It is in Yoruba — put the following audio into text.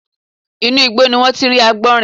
Inú igbó ni wọ́n ti rí àgbọ̀nrín